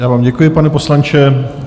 Já vám děkuji, pane poslanče.